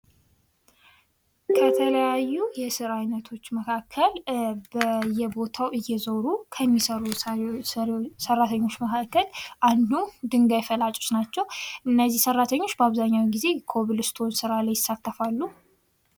ከተለያዩ የስራ አይነቶች መካከል በየቦታው እየዞሩ ከሚሰሩ ሰራተኞች መካከል አንዱ ድንጋይ ፈላጮች ናቸው:: እነዚህ ሰራተኞች በአብዛኛውን ጊዜ ኮብልስቶን ሥራ ላይ ይሳተፋሉ::